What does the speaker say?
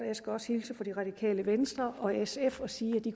også hilse fra det radikale venstre og sf og sige at de